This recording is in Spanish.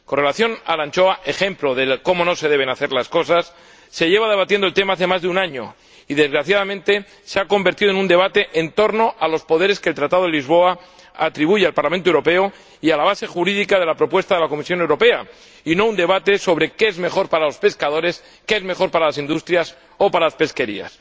En relación con la anchoa, ejemplo de cómo no se deben hacer las cosas, se lleva debatiendo el tema desde hace más de un año y, desgraciadamente, se ha convertido en un debate en torno a los poderes que el Tratado de Lisboa atribuye al Parlamento Europeo y a la base jurídica de la propuesta de la Comisión Europea, y no en un debate sobre qué es mejor para los pescadores, qué es mejor para las industrias o para las pesquerías.